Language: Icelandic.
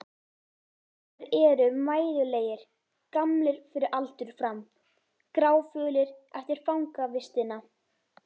Þeir eru mæðulegir, gamlir fyrir aldur fram, gráfölir eftir fangavistina.